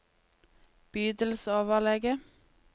bydelsoverlege